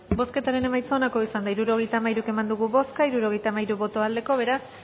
bozketaren emaitza onako izan da hirurogeita hamairu eman dugu bozka hirurogeita hamairu boto aldekoa beraz